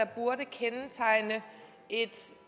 burde kendetegne